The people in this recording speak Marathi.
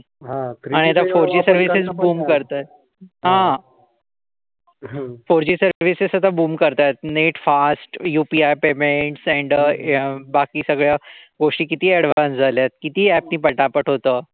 फोरजी सर्विसेस आता बुम करतायेत net fast UPI payment sender अ बाकी सगळ गोष्टी किती येडवान्स झाल्यात किती अगदी पटापट होतं.